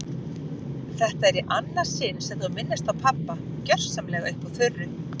Þetta er í annað sinn sem þú minnist á pabba gersamlega upp úr þurru.